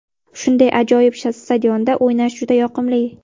Shunday ajoyib stadionda o‘ynash juda yoqimli.